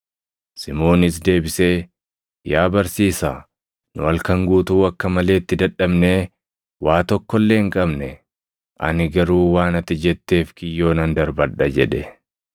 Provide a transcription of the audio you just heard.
Simoonis deebisee, “Yaa barsiisaa, nu halkan guutuu akka malee itti dadhabnee waa tokko illee hin qabne. Ani garuu waan ati jetteef kiyyoo nan darbadha” jedhe.